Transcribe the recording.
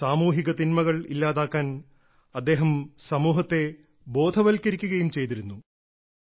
സാമൂഹിക തിന്മകൾ ഇല്ലാതാക്കാൻ അദ്ദേഹം സമൂഹത്തെ ബോധവൽക്കരിക്കുകയും ചെയ്തിരുന്നു